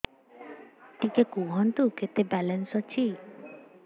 ଟିକେ କୁହନ୍ତୁ କେତେ ବାଲାନ୍ସ ଅଛି